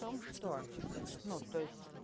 в том что ну то есть